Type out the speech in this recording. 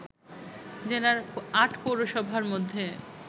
জেলার ৮ পৌরসভার মধ্যে